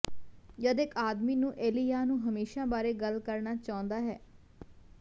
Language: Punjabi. ਜਦ ਇੱਕ ਆਦਮੀ ਨੂੰ ਏਲੀਯਾਹ ਨੂੰ ਹਮੇਸ਼ਾ ਬਾਰੇ ਗੱਲ ਕਰਨਾ ਚਾਹੁੰਦਾ ਹੈ